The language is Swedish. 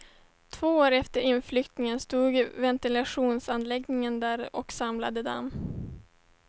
Två år efter inflyttningen stod ventilationsanläggningen där och samlade damm.